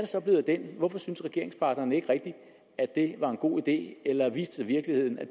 så blevet af den hvorfor syntes regeringspartnerne ikke rigtig at det var en god idé eller viste virkeligheden at